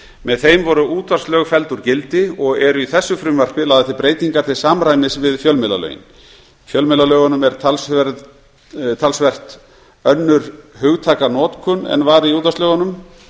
með þeim voru útvarpslög felld úr gildi og eru í þessu frumvarpi lagðar breytingar til samræmis við fjölmiðlalögin í fjölmiðlalögunum er talsvert önnur hugtakanotkun en var í útvarpslögunum